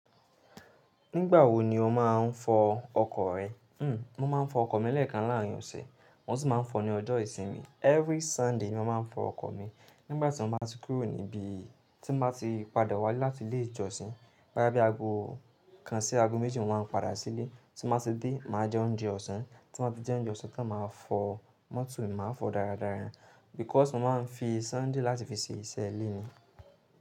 Nígbà wo ni o máa ń fọ ọkọ̀ rẹ? Hmm, mo máa ń fọ ọkọ̀ mi lẹ́ẹ̀kan láàárín ọ̀sẹ̀. Mo sì máa ń fọ ní ọjọ́ ìsinmi. Every Sunday ni mo máa ń fọ ọkọ̀ mi. Nígbà tí mo bá ti kúrò níbí, tí n bá ti padà wále láti ilé ìjọsìn, boya tí ago kan sí ago méjì ni mo máa ń padà sílé. Tí n bá ti dé, màá jẹ oúnjẹ ọ̀sán, tí n bá ti jẹ oúnjẹ ọ̀sán tan màá fọ, mọ́tò mi màá fọ dáradára. Because mo máa ń fi Sunday láti fi ṣe iṣẹ́ ilé ni.